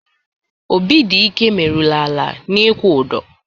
Obidịke meruru ala n'ikwu ụdọ.